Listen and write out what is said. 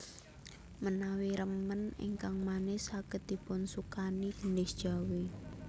Menawi remen ingkang manis saged dipunsukani gendhis Jawi